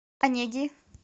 онеги